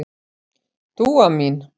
Dúa mín.